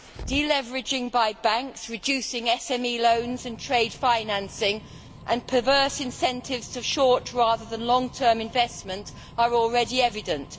Deleveraging by banks, reducing SME loans in trade financing and perverse incentives to short rather than long term investment are already evident.